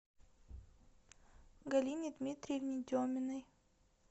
галине дмитриевне деминой